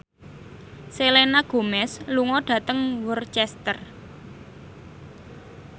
Selena Gomez lunga dhateng Worcester